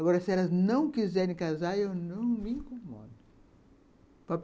Agora, se elas não quiserem casar, eu não me incomodo.